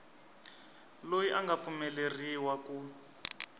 loyi a nga pfumeleriwa ku